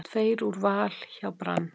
Tveir úr Val hjá Brann